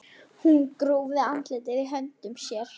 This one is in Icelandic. Hún grúfði andlitið í höndum sér.